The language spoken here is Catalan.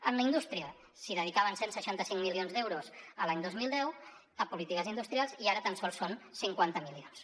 a la indústria s’hi dedicaven cent i seixanta cinc milions d’euros l’any dos mil deu a polítiques industrials i ara tan sols són cinquanta milions